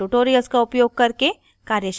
spoken tutorials का उपयोग करके कार्यशालाएं चलाती है